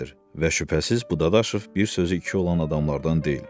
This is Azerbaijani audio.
Və şübhəsiz bu Dadaşov bir sözü iki olan adamlardan deyil.